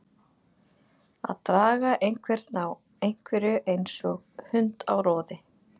Að draga einhvern á einhverju eins og hund á roði